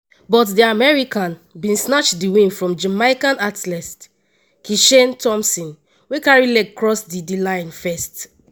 but di american bin snatch di win from jamaican athlete kishane thomson wey carry leg cross di di line first.